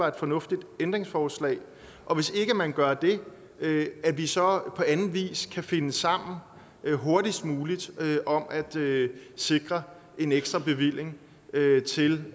et fornuftigt ændringsforslag og hvis ikke man gør det at vi så på anden vis kan finde sammen hurtigst muligt om at sikre en ekstra bevilling til